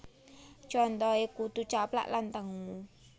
Contoh e Kutu Caplak lan tengu